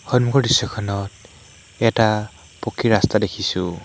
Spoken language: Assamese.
সন্মুখৰ দৃশ্যখনত এটা পকী ৰাস্তা দেখিছোঁ।